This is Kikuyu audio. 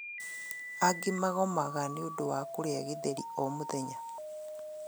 Angĩ magomaga niũndũ wa kũrĩa gĩtheri o mũthenya